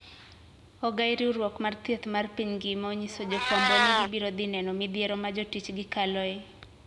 Ogai riwruok mar thieth mar piny ngima onyiso jofwambo ni gibirodhineno midhiero majotijgi kaloe.